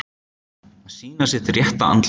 Að sýna sitt rétta andlit